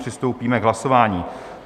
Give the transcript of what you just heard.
Přistoupíme k hlasování.